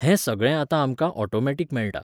हें सगळें आतां आमकां ऑटोमॅटिक मेळटा.